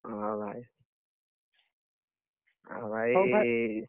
ହଁ ଭାଇ, ଆଉ ଭାଇ